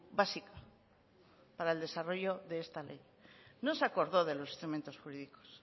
básica para el desarrollo de esta ley no se acordó de los instrumentos jurídicos